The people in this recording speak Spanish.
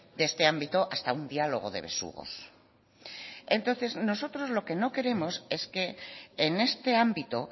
de este ámbito hasta un diálogo de besugos entonces nosotros lo que nos queremos es que en este ámbito